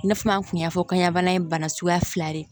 I n'a fɔ an tun y'a fɔ kɔɲabana in ye bana suguya fila ye